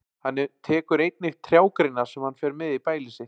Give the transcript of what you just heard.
Hann tekur einnig trjágreinar sem hann fer með í bælið sitt.